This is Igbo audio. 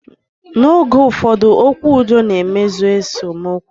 Na oge ụfọdụ, okwu udo na-emezi esemokwu